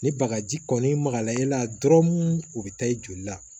Ni bagaji kɔni magala i la dɔrɔn u bɛ taa i joli la